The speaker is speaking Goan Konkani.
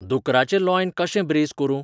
दुकराचें लॉइन् कशें ब्रेझ करूं ?